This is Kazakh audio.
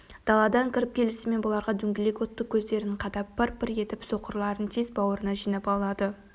даладан кіріп келісімен бұларға дөңгелек отты көздерін қадап пыр-пыр етіп соқырларын тез бауырына жинап алады